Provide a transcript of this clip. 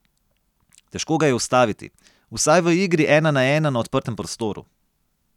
Težko ga je ustaviti, vsaj v igri ena na ena na odprtem prostoru.